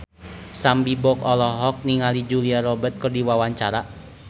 Sam Bimbo olohok ningali Julia Robert keur diwawancara